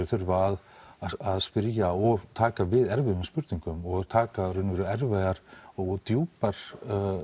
þurfa að spyrja og taka við erfiðum spurningum og taka í raun og veru erfiðar og djúpar